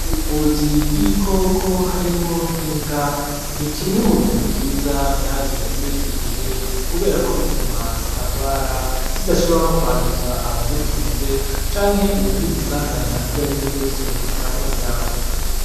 Ubuvuzi bw'ibikoko harimwo nk'ibwa, ni kimwe mu bintu vyiza vyaje muri iki gihe kubera ko bituma zitagwara zidashobora no kwanduza abazitunze canke uwugize isanganya iryariryo ryose zikamurya.